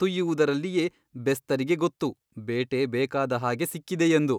ತುಯ್ಯುವುದರಲ್ಲಿಯೇ ಬೆಸ್ತರಿಗೆ ಗೊತ್ತು ಬೇಟೆ ಬೇಕಾದ ಹಾಗೆ ಸಿಕ್ಕಿದೆಯೆಂದು.